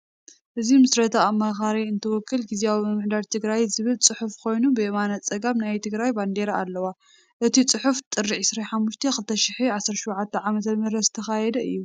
እዚ ምስረታ አማካሪ ካውንስል ግዝያዎ ምምሕዳር ትግራይ ዝብል ፅሑፍ ኮይኑ ብየማነ ፀጋም ናይ ትግራይ ባንዴራ አለዋ፡፡ እቲ ፅሑፍ ጥሪ 25/2017 ዕ/ም ዝተካየደ እዩ፡፡